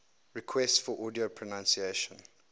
requests for audio pronunciation